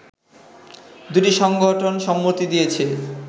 দুটি সংগঠন সম্মতি দিয়েছে